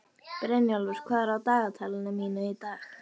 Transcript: Brynjólfur, hvað er á dagatalinu mínu í dag?